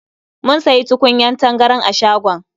Mun sayi tukunyar tangaran a shagon.